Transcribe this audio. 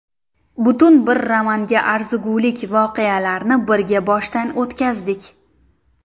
Butun bir romanga arzigulik voqealarni birga boshdan o‘tkazdik.